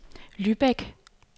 Lübeck